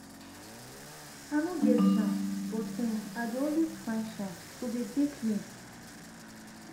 i no get chance but[um]i dey always find chance to dey dey clean